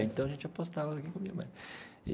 Então a gente apostava quem comia mais.